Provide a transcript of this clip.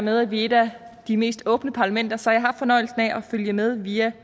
med at vi er et af de mest åbne parlamenter så har jeg haft fornøjelsen af at følge med via